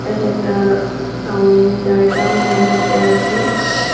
এটা একটা-আ টাউন জায়গা মালদাতে আছে।